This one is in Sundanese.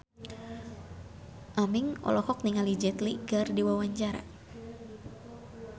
Aming olohok ningali Jet Li keur diwawancara